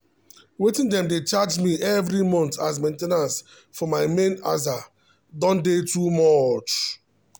wetin dem dey charge me every month as main ten ance for my main aza don dey too much